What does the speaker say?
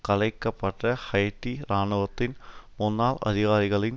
கலைக்கப்பட்ட Haiti இராணுவத்தின் முன்னால் அதிகாரிகளின்